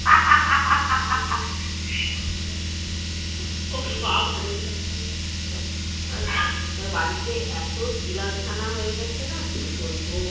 oops বাপরে আর বলিস না বাড়িতে এত বিড়াল ছানা হয়ে গেছে না কি বলবো